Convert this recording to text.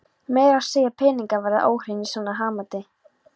Meira að segja peningar verða óhreinir í svona hanaati.